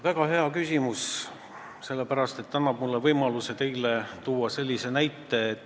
Väga hea küsimus, see annab mulle võimaluse tuua teile näide.